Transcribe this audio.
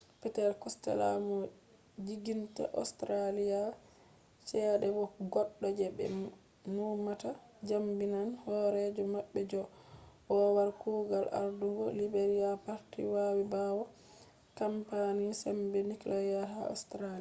peter costella mo siginta australia chede bo goddo je be numata jabinan horejo mabbe john howard kugal ardungo liberal party vawi bawo kampani sembe nuclear ha australia